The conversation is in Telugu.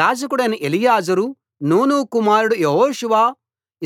యాజకుడైన ఎలియాజరు నూను కుమారుడు యెహోషువ